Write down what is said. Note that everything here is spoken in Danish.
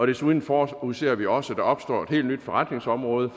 desuden forudser vi også opstår et helt nyt forretningsområde